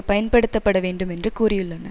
பயன்படுத்தப்பட வேண்டும் என்று கூறியுள்ளன